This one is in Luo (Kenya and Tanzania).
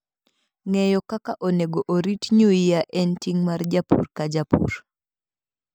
Ng'eyo kaka onego orit nyuia en ting' mar japur ka japur.